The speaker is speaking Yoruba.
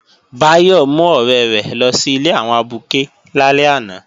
Báyọ̀ mú ọ̀rẹ́ rẹ̀ lọ sí ilé àwọn abuké lálẹ́ àná